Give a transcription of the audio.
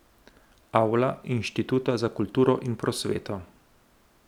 Avla Inštituta za kulturo in prosveto.